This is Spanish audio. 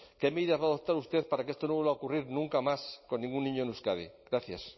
qué medidas va a adoptar usted para que esto no vuelva a ocurrir nunca más con ningún niño en euskadi gracias